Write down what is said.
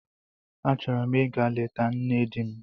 Achọrọ m ịga leta nne di m.